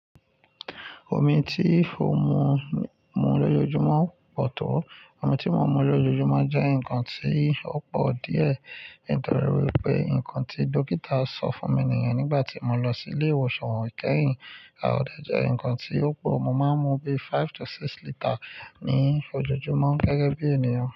Omi tí o ń mu, mu lójojúmọ́ pọ̀ tó. Omi tí mo mú lójojúmọ́ jẹ́ nǹkan tí ó pọ̀ díẹ̀ nítorí wí pé nǹkan tí dọ́kítà sọ fún mi nìyẹn nígbà tí mo lọ sí ilé ìwòsàn wòkẹ́yìn. A ò dẹ̀ jẹ́ ǹkan tí ó pọ̀, mo máa ń mú bí five to six litre ní ojojúmọ́ gẹ́gẹ́ bí ènìyàn.